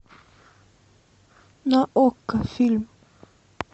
на окко фильм